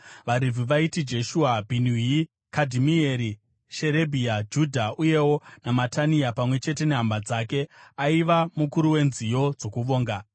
VaRevhi vaiti: Jeshua, Bhinui, Kadhimieri, Sherebhia, Judha, uyewo naMatania pamwe chete nehama dzake, aiva mukuru wenziyo dzokuvonga.